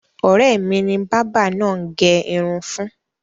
Ọ̀rẹ́ mi ni bábà náà gẹ irun fún.